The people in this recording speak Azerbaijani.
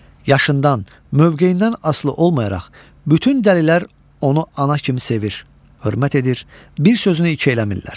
Yaşından, mövqeyindən asılı olmayaraq bütün dəlilər onu ana kimi sevir, hörmət edir, bir sözünü iki eləmirlər.